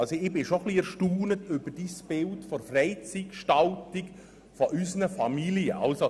Ich bin etwas erstaunt über die Vorstellungen von Grossrat Näf, was die Freizeitgestaltung der Jugendlichen und Familien betrifft.